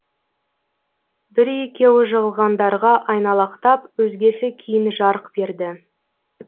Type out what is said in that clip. бір екеуі жығылғандарға айналақтап өзгесі кейін жарқ берді